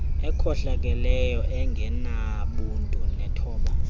ekhohlakeleyo engenabuntu nethoba